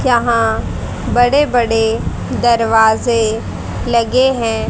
यहाँ बड़े बड़े दरवाजें लगे हैं।